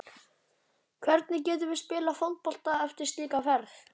Hvernig getum við spilað fótbolta eftir slíka ferð?